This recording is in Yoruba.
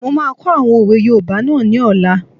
Mo máa kọ́ àwọn òwe yoòbá náà ní ọ̀la